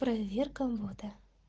проверка ввода